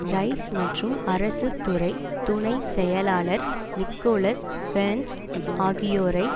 rice மற்றும் அரசு துறை துணை செயலாளர் நிக்கோலஸ் பேர்ன்ஸ் ஆகியோரை